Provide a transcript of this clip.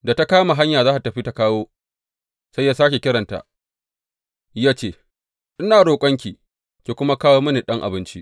Da ta kama hanya za tă tafi tă kawo, sai ya sāke kiranta ya ce, Ina roƙonki, ki kuma kawo mini ɗan abinci.